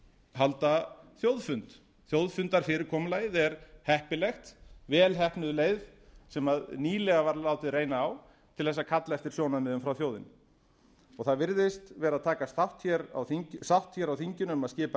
halda þjóðfund þjóðfundarfyrirkomulagið er heppilegt vel heppnuð leið sem nýlega var látið reyna á til þess að kalla eftir sjónarmiðum frá þjóðinni það virðist vera að takast sátt hér á þinginu um að skipa